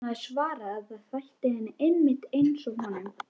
Hún hafði svarað að það þætti henni einmitt einsog honum.